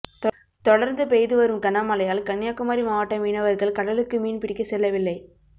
தொடர்ந்து பெய்து வரும் கனமழையால் கன்னியாகுமரி மாவட்ட மீனவர்கள் கடலுக்கு மீன் பிடிக்க செல்லவில்லை